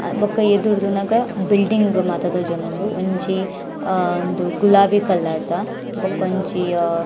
ಅ ಬೊಕ ಎದುರುಡು ತೂನಗ ಬಿಲ್ಡಿಂಗ್ ಮಾತ ತೋಜೊಂದುಂಡು ಒಂಜಿ ಅಹ್ ಉಂದು ಗುಲಾಬಿ ಕಲರ್ದ ಬಕೊಂಜಿ ಅಹ್ --